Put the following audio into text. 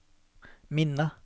minne